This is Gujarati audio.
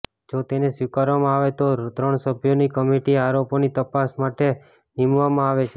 જો તેને સ્વીકારવામાં આવે તો ત્રણ સભ્યોની કમિટી આરોપોની તપાસ માટે નીમવામાં આવે છે